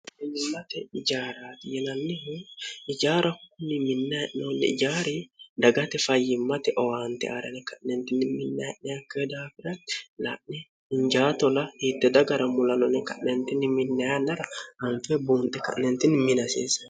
sate ijaarati yelannihu ijaara kunni minnae'noolle ijaari dagate fayyimmate owaante aarene ka'neentinni minnaye'neakke daafirati la'ne hinjaatola hiitte dagara mulanone ka'nentinni minna yannara hanfe buunxe ka'neentinni minaseese